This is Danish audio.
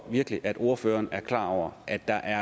virkelig at ordføreren er klar over at der